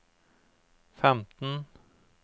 femten